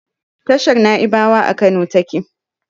Tashar Naibawa a Kano take